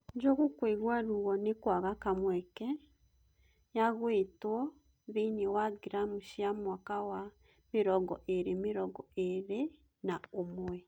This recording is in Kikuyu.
Ngoju kuĩgua ruo nĩkwaga kamweke ya gũitwo thĩini wa Gramu cia mwaka wa mĩrongo ĩĩri mĩrongo ĩĩri na ũmwe